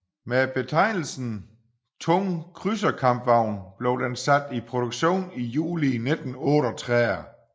Med betegnelsen tung krydserkampvogn blev den sat i produktion i juli 1938